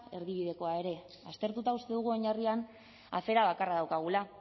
erdibidekoa ere aztertuta uste dugu oinarrian afera bakarra daukagula